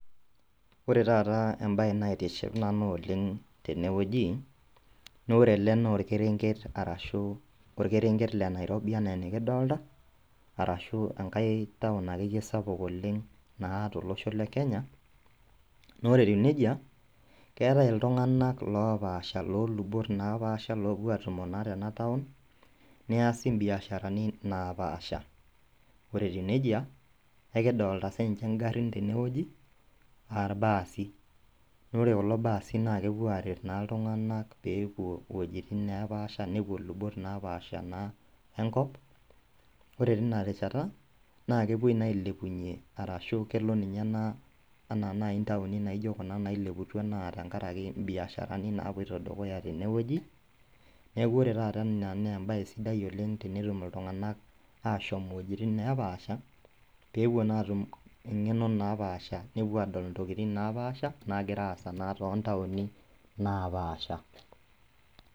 Ore tata embaye naitiship nanu oleng' tenewueji naaore ele noolkerenket arashu olkerenket le nairobi anaa enikidolta arashu engai town akeyie sapuk oleng' naa tolosho le Kenya. Naaore etiu neija, keetai iltung'anak loopasha loolubot napaasha loopuo atumo naa tenataun, neasi imbiasharani naapaasha. Ore etiu neija ekidolita sininche ingarrin tenewueji aailbaasi naaore kulo baasi naakepuo aret naa iltung'anak peepuo wuejitin neepaasha nepuo lubot naapaasha naa enkop. Ore tinarishata naakepuoi naa ailepunye arashu kelo ninye ena anaa nai intauni naijo kuna naileputua naa tengarake imbiasharani naapuoito dukuya tenewueji. Neaku ore tata ena neembaye sidai oleng' tenetum iltung'anak ashom iwuejitin neepaasha peepuo naatum eng'eno naapaasha nepuo adol intokitin napaasha naagiraasa naa tontauni napaasha.